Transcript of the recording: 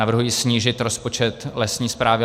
Navrhuji snížit rozpočet Lesní správy